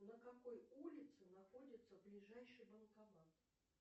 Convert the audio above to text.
на какой улице находится ближайший банкомат